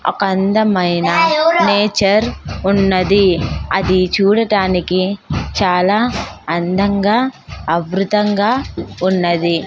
ఒక అందమైన నేచర్ ఉన్నది అది చూడటానికి చాలా అందంగా అబృతంగా ఉన్నది.